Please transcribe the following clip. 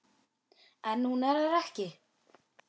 En hún er það ekki.